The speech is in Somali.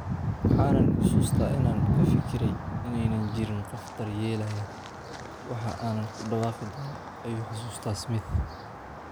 "Waxaan xusuustaa inaan ka fikirayay in aanay jirin qof daryeelaya waxa aan ku dhawaaqi doono," ayuu xusuustaa Smith.